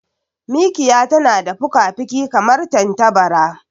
Mikiya tana da fukafuki kamar tantabara.